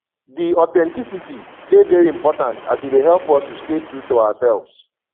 di authenticity dey very important as e dey help us to stay true to ourselves